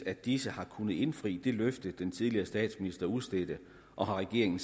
at disse har kunnet indfri det løfte den tidligere statsminister udstedte og har regeringen